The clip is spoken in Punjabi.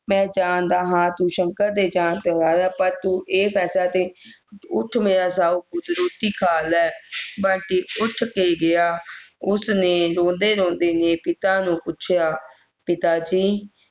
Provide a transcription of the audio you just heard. ਮੈਂ ਜਾਣਦਾ ਹਾਂ ਤੂੰ ਸ਼ੰਕਰ ਦੇ ਜਾਣ ਤੇ ਪਰ ਤੂੰ ਇਹ ਫੈਂਸਲਾ ਤੇਰੀ ਉੱਠ ਮੇਰਾ ਸਾਓ ਪੁੱਤ ਰੋਟੀ ਖਾ ਲੈ ਬੰਟੀ ਉੱਠ ਕੇ ਗਿਆ ਉਸ ਨੇ ਰੋਂਦੇ ਰੋਂਦੇ ਨੇ ਪਿਤਾ ਨੂੰ ਪੁੱਛਿਆ ਪਿਤਾਜੀ